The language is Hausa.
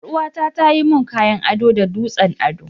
Yar uwa ta tayi mun kayan ado da dutsen ado.